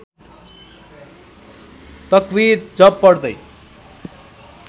तक्विर जप पढ्दै